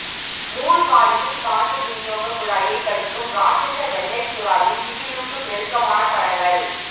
மூழ்காளியின் காற்று விநியோக குழாயை கடிக்கும் ராட்ஷச வெள்ளை சுறாவின் திகிலூட்டும் நெருக்கமான படங்கள்